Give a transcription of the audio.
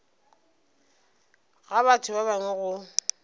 ga batho ba bangwe go